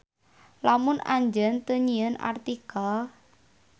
Lamun Anjeun teu nyieun artikel.